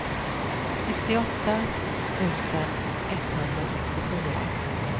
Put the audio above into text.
sextioåtta tusen etthundrasextiofyra